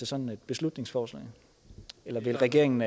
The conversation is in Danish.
sådan et beslutningsforslag vil regeringen